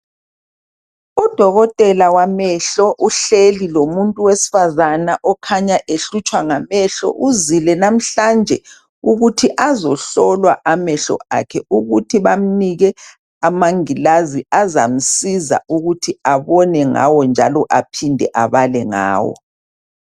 Udokotela wamehlo uhleli lomuntu wesifazana okhanya ehlutshwa ngamehlo ,uzile namhlanje ukuthi azohlolwa amehlo akhe ukuthi bamnike amangilazi azamsiza ukuthi abone ngawo njalo aphinde abale ngawo.